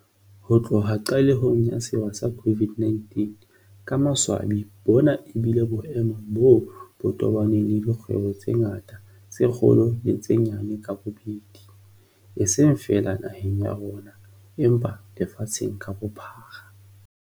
Ho tloha qalehong ya sewa sa COVID-19, ka maswabi bona ebile boemo boo bo tobaneng le dikgwebo tse ngata tse kgolo le tse nyane ka bobedi, eseng feela naheng ya rona empa lefatsheng ka bophara.